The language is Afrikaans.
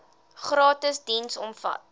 gratis diens omvat